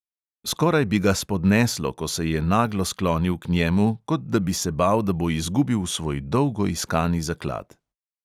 Skoraj bi ga spodneslo, ko se je naglo sklonil k njemu, kot da bi se bal, da bo izgubil svoj dolgo iskani zaklad.